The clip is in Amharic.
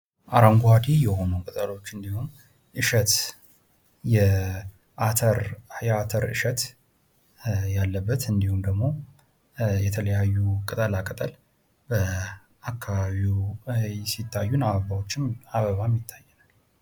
አረንጓዴ የሆኑ ብእሎች እንዲሁም እሸት፣ የአተር እሸት ያለበት እንዲሁም ደሞ የተለያዩ ቅጠላቅጠል በአከባቢ ሲታዩ አበባዎችም ይታያሉ።